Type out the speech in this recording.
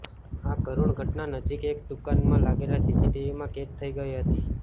આ કરૂણ ઘટના નજીકની એક દૂકાનમાં લાગેલા સીસીટીવીમાં કેદ થઈ ગઈ હતી